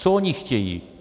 Co oni chtějí?